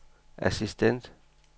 assistent